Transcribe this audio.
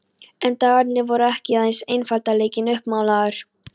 En dagarnir voru ekki aðeins einfaldleikinn uppmálaður.